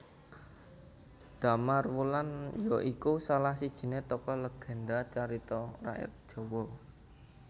Damarwulan ya iku salah sijiné tokoh legénda carita rakyat Jawa